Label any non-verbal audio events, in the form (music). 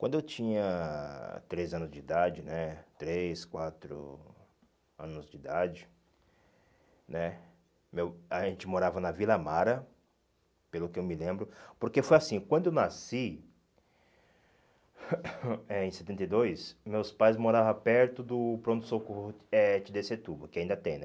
Quando eu tinha três anos de idade né, três, quatro anos de idade né, meu a gente morava na Vila Mara, pelo que eu me lembro, porque foi assim, quando eu nasci, (coughs) eh em setenta e dois, meus pais moravam perto do pronto-socorro eh de Desetuba, que ainda tem, né?